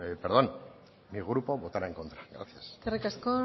mi grupo votará en contra gracias eskerrik asko